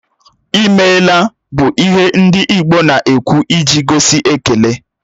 "I meela" bụ ihe ndị Igbo na-ekwụ iji gosi ekele